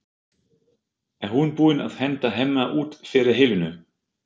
Er hún búin að henda Hemma út fyrir Helenu?